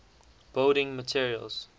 building materials